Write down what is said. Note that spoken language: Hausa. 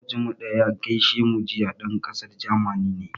Moƙocinmu da ya gaishe mu jiya, ɗan ƙasar Jamani ne.